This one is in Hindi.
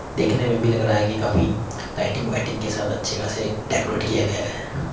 देखने में भी लग रहा है कि काफी लाइटिंग वाइटिंग के साथ अच्छे खासे डेकोरेट किया गया है।